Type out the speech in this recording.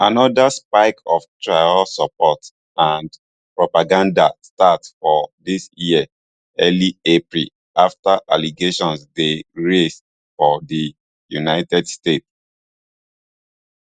anoda spike of traor support and propaganda start for dis year early april afta allegations dey raised for di united states